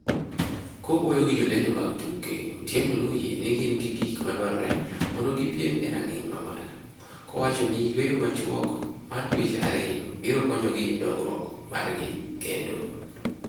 Kowuoyo gi jolendo mag tuke, Otieno noyie ni gin gi gik madwarore mondo gipiem e rang'iny mamalo, kowacho ni yueyo machuok mar dueche ariyo biro konyogi e dongrouk margi kendo.